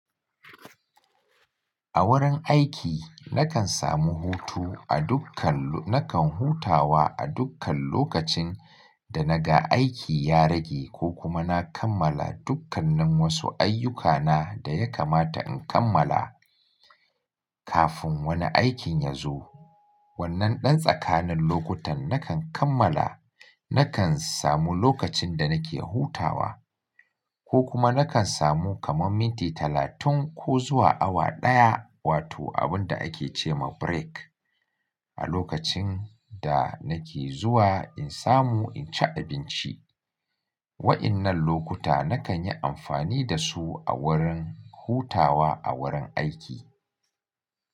A wurin aiki nakan samu hutu a dukkan-- nakan hutawa a dukkan lokacin da naga aiki ya rage ko kuma na kammala dukkannin wasu ayyukana da ya kamata in kammala kafin wani aikin ya zo. Wannan ɗan tsakanin lokutan nakan kammala, nakan samu lokacin da nake hutawa ko kuma nakan samu kaman minti talatin ko zuwa awa ɗaya wato abun da ake ce ma break. A lokacin da nake zuwa in samu in ci abinci. Wa'innan lokuta nakan yi amfani da su a wurin hutawa a wurin aiki.